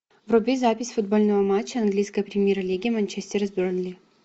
вруби запись футбольного матча английской премьер лиги манчестера с бернли